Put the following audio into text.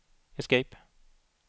escape